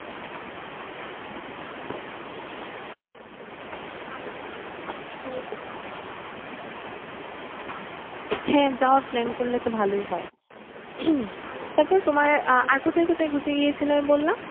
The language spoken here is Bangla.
হ্যাঁ যাওয়ার plan করলে তো ভালোই হয়? তারপরে তোমার আহ আর কোথায় কোথায় ঘুরতে গিয়েছিলে বললে?